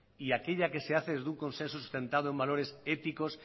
y aquella que se hace desde un consenso sustentado en valores éticos